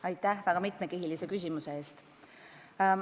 Aitäh väga mitmekihilise küsimuse eest!